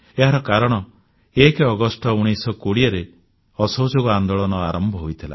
ଏହାର କାରଣ 1 ଅଗଷ୍ଟ 1920ରେ ଅସହଯୋଗ ଆନ୍ଦୋଳନ ଆରମ୍ଭ ହୋଇଥିଲା